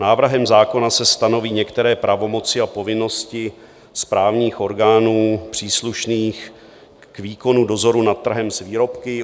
Návrhem zákona se stanoví některé pravomoci a povinnosti správních orgánů příslušných k výkonu dozoru nad trhem s výrobky.